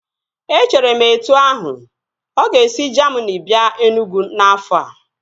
Echere m etu ahu, ọ ga-esi Jamini bịa Enugwu n'afọ a